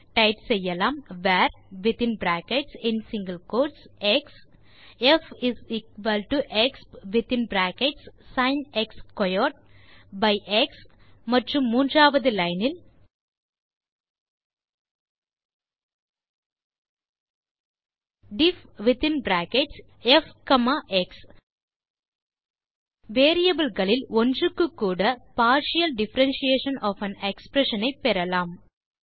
type செய்யலாம் varஎக்ஸ் fexp of x மற்றும் பின் மூன்றாவது லைன் இல் difffஎக்ஸ் variableகளில் ஒன்றுக்கு கூட partial differentiation of an expression ஐ பெறலாம்